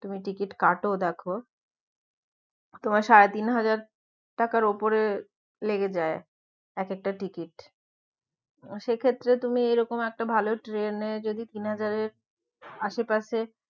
তুমি টিকিট কাটো দেখো তোমার সাড়ে তিন হাজার টাকার উপরে লেগে যায় এক একটা টিকিট সে ক্ষেত্রে তুমি এরকম একটা ভালো ট্রেনে যদি তিন হাজারের আশেপাশে